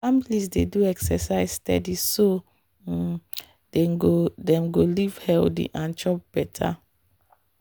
families dey do exercise steady so um dem go dem go live healthy and chop better.